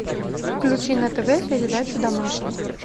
включи на тв передачу домашний